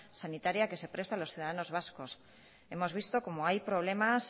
sanitaria que se presta a los ciudadanos vascos hemos visto cómo hay problemas